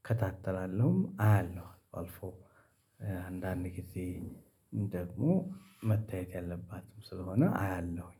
እከታተላለሁም አያለሁ። አልፎ አንዳንድ ጊዜ ደግሞ መታየት ያለባትም ስለሆነ አያለሁኝ።